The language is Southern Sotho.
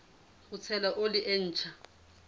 ho tshela oli e ntjha